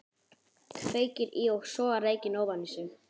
Kveikir í og sogar reykinn ofan í sig.